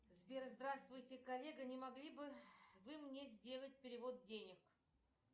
сбер здравствуйте коллега не могли бы вы мне сделать перевод денег